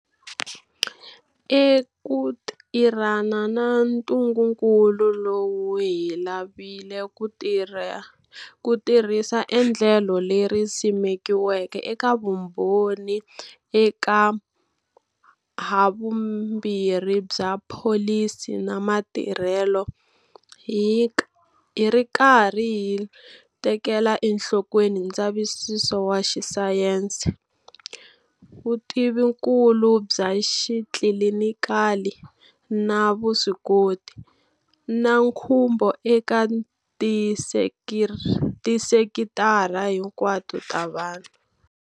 Eku tirhana na ntungukulu lowu hi lavile ku tirhisa endlelo leri simekiweke eka vumbhoni eka havumbirhi bya pholisi na matirhelo, hi ri karhi hi tekela enhlokweni ndzavisiso wa xisayense, vutivikulu bya xitlilinikali na vuswikoti, na nkhumbo eka tisekitara hinkwato ta vanhu.